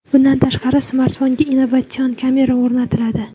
Bundan tashqari, smartfonga innovatsion kamera o‘rnatiladi.